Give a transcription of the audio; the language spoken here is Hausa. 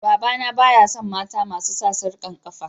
Baba na baya son mata masu sa sarkan kafa.